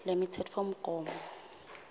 lemitsetfomgomo